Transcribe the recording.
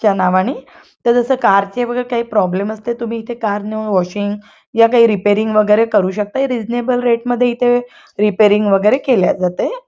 च्या नावाने तर जस बगा कार चे काही प्रॉब्लेम असतात तुम्ही इथे कार नेऊन वॉशिंग या काही रिपेरींग वगैरे करू शकता रिझनेबल रेट मध्ये इथे रिपेरींग वगैरे केल्या जातेय.